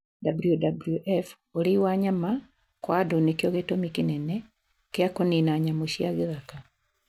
WWF:urĩi wa nyama kwa andũ nĩkĩo gĩtũmi kĩnene kĩa kũnina nyamũ cia gĩthaka